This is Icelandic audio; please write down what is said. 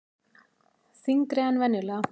Þyngri en venjulega.